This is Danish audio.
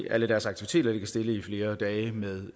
alle deres aktiviteter ligger stille i flere dage med